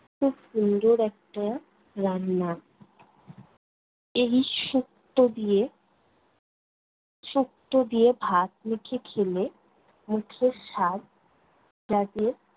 খুব সুন্দর একটা রান্না। এই শুক্তো দিয়ে শুক্তো দিয়ে ভাত মেখে খেলে, মুখের স্বাদ জাগে